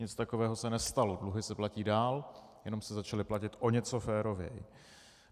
Nic takového se nestalo, dluhy se platí dál, jenom se začaly platit o něco férověji.